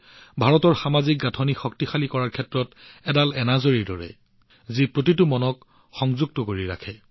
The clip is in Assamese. ভাৰতৰ সামাজিক গাঁথনি শক্তিশালী কৰাৰ ক্ষেত্ৰত মন কী বাত হৈছে জপমালাৰ সূতাৰ দৰে যত প্ৰতিটো মণি একেলগে ধৰি ৰাখে